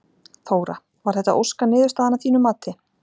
Þóra: Var þetta óska niðurstaðan að þínu mati?